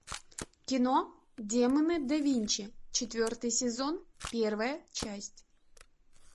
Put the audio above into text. кино демоны да винчи четвертый сезон первая часть